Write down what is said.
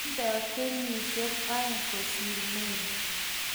tingdoi kenyisiek oeng' kosir Mary